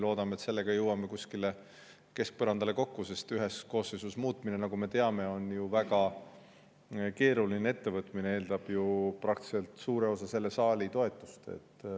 Loodame, et jõuame sellega kuskile keskpõrandale kokku, sest ühes koosseisus muutmine, nagu me teame, on väga keeruline ettevõtmine, see eeldab ju suure osa selle saali toetust.